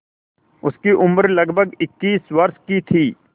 उसकी उम्र लगभग इक्कीस वर्ष की थी